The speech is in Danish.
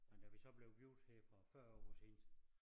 Men da vi så blev gift her for 40 år siden